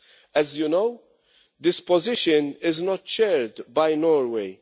As you know, this position is not shared by Norway.